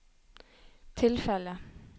tilfellet